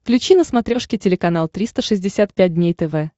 включи на смотрешке телеканал триста шестьдесят пять дней тв